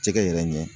Jɛgɛ yɛrɛ ɲɛ